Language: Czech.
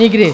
Nikdy!